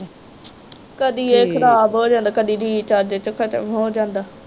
ਕਦੀ ਇਹ ਖਰਾਬ ਹੋ ਜਾਂਦਾ ਕਦੀ ਰਿਚਾਰਜ ਇਹਦੇ ਚੋ ਖਤਮ ਹੋ ਜਾਂਦਾ।